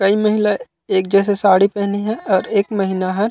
कई महिला एक जैसे साड़ी पेहने हे और एक महिला ह--